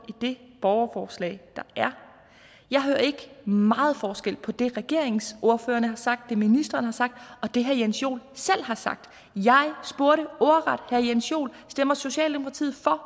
i det borgerforslag der er jeg hørte ikke meget forskel på det regeringens ordførere har sagt det ministeren har sagt og det herre jens joel selv har sagt jeg spurgte ordret herre jens joel stemmer socialdemokratiet for